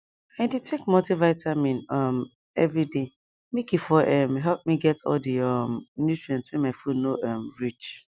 i dey take multivitamin um every day make e for um help me get all the um nutrient wey my food no um reach